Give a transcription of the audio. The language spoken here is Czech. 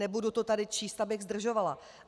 Nebudu to tady číst, abych zdržovala.